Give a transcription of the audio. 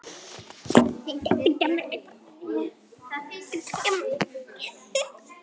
Hingað til að minnsta kosti.